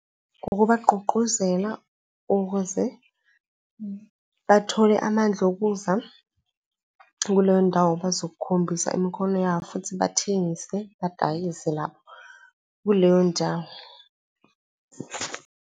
Ukubagqugquzela ukuze bathole amandla ukuza kuleyo ndawo, bazokukhombisa imikhono yabo futhi bathengise, badayise lapho kuleyo ndawo.